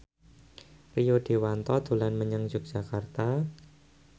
Rio Dewanto dolan menyang Yogyakarta